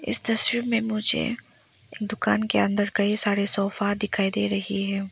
इस तस्वीर में मुझे एक दुकान के अंदर कई सारे सोफा दिखाई दे रही है।